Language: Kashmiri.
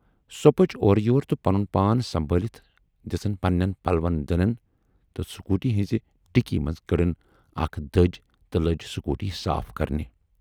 سۅ پٔچ اور یور تہٕ پنُن پان سنبھٲلِتھ دِژٕن پنہٕ نٮ۪ن پلون دٕنن تہٕ سکوٗٹی ہٕنزِ ڈِکی منزٕ کٔڈٕن اکھ دٔج تہٕ لٔج سکوٗٹی صاف کرنہِ۔